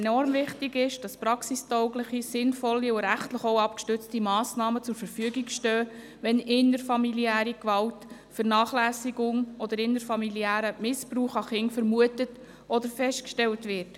Enorm wichtig ist, dass praxistaugliche, sinnvolle und rechtlich auch abgestützte Massnahmen zur Verfügung stehen, wenn innerfamiliäre Gewalt, Vernachlässigung oder innerfamiliärer Missbrauch an Kindern vermutet oder festgestellt wird.